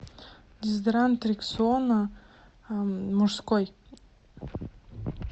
дезодорант рексона мужской